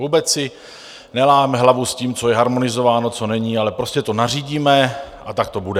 Vůbec si neláme hlavu s tím, co je harmonizováno, co není, ale prostě to nařídíme a tak to bude!